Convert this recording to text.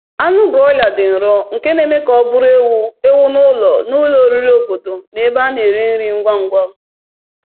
Anụ broiler dị nro, nke na-eme ka ọ bụrụ ewu ewu n’ụlọ n’ụlọ oriri obodo na ebe a na-ere nri ngwa ngwa.